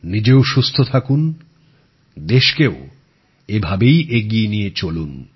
নিজেও সুস্থ থাকুন দেশকেও এভাবেই এগিয়ে নিয়ে চলুন